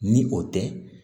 Ni o tɛ